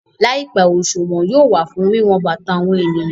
Láìpẹ́, òṣùwọ̀n fún wíwọn bàtà àwọn èèyàn